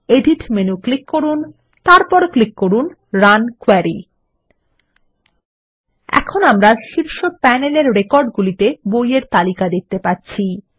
edit menu click করুন তারপর click করুন রান কোয়েরি